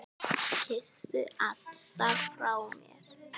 Kysstu alla frá mér.